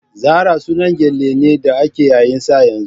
Zara sunan gele ne da ake yayin sa yanzu.